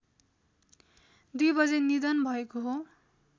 २ बजे निधन भएको हो